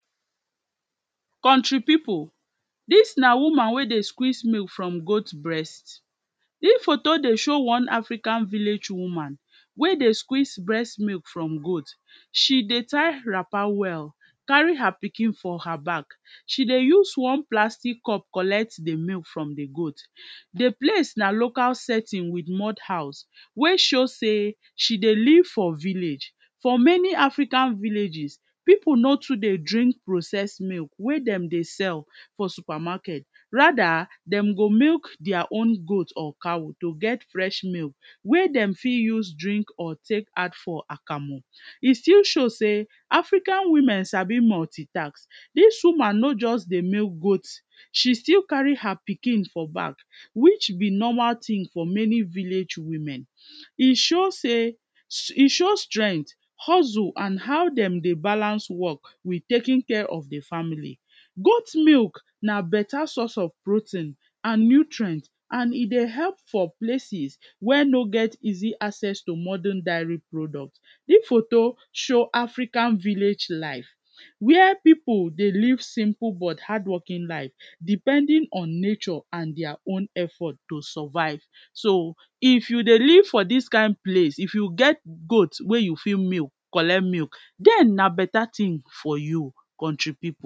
Country pipu, dis na woman wey dey squeeze milk from goat breast, dis photo dey show one African village woman wey dey squeeze breast milk from goat, she dey tire wrapper well, carry her pikin for her back, she dey use one plastic cup collect di milk from di goat, di place na local setting with mold house wey show sey she dey live for village for many African villages, pipu no too dey drink processed milk wey dem dey sell for supermarket rather dem go milk dia own goat or cow to get fresh milk wey dem fit use drink or take add for akamu, e still show sey African women dem sabi multi task dis woman no just dey milk goat she still carry her pikin for back which be normal tin for many village women, e show sey, e show strength and how dem dey balance work in taking care of di family. goat milk na better source of protein and nutrient and e dey help for places where no get easy access to modern diary product, dis photo show African village life where pipu dey live simple but hardworking life depending on nature and dia own effort to survive so If you dey live for dis kind place if you get goat wey you fit milk collect milk den na better tin for you Country pipu.